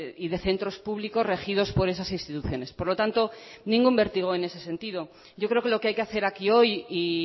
y de centros públicos regidos por esas instituciones por lo tanto ningún vértigo en ese sentido yo creo que lo que hay que hacer aquí hoy y